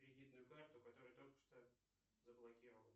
кредитную карту которую только что заблокировал